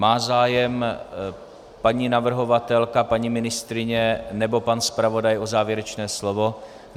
Má zájem paní navrhovatelka, paní ministryně nebo pan zpravodaj o závěrečné slovo?